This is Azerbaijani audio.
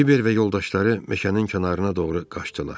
Kiber və yoldaşları meşənin kənarına doğru qaçdılar.